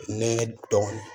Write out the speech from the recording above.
Ne dɔɔnin